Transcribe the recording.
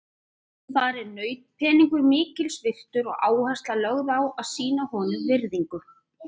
Þar er nautpeningur mikils virtur og áhersla lögð á að sýna honum virðingu.